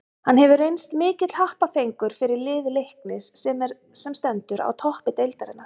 Hann hefur reynst mikill happafengur fyrir lið Leiknis sem er sem stendur á toppi deildarinnar.